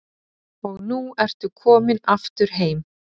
Og nú ertu komin aftur heim?